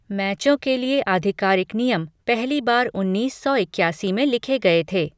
मैचों के लिए आधिकारिक नियम पहली बार उन्नीस सौ इक्यासी में लिखे गए थे।